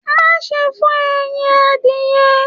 Má ṣe fọ ẹyìn adìyẹ̀!